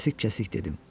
Kəsik-kəsik dedim: